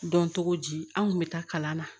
Dɔn cogo di an kun bɛ taa kalan na